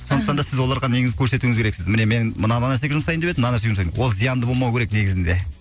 сондықтан да сіз оларға негізі көрсетуіңіз керексіз міне мен мына нәрсеге жұмсайын деп едім мына нәрсеге жұмсайын деп едім ол зиянды болмауы керек негізінде